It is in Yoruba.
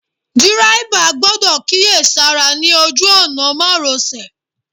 Dírẹ́bà gbọ́dọ̀ kíyèsára ní ojú òná márosẹ̀.